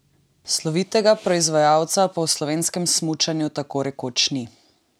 Slovitega proizvajalca pa v slovenskem smučanju tako rekoč ni.